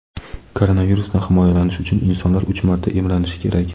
koronavirusdan himoyalanish uchun insonlar uch marta emlanishi kerak.